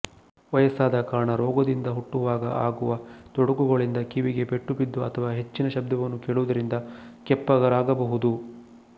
ವಯಸ್ಸಾದ ಕಾರಣ ರೋಗದಿಂದ ಹುಟ್ಟುವಾಗ ಆಗುವ ತೊಡಕುಗಳಿಂದಕಿವಿಗೆ ಪೆಟ್ಟು ಬಿದ್ದು ಅಥವ ಹೆಚ್ಚಿನ ಶಬ್ದವನ್ನು ಕೇಳುವುದರಿಂದ ಕೆಪ್ಪರಾಗಬಹುದು